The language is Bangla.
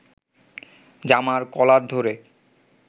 জামার কলার ধরে